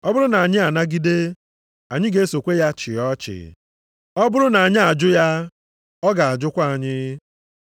Ọ bụrụ na anyị anagide, anyị ga-esokwa ya chịa ọchịchị. Ọ bụrụ na anyị ajụ ya, ọ ga-ajụkwa anyị.